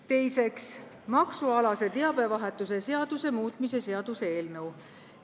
Teiseks, maksualase teabevahetuse seaduse muutmise seaduse eelnõu.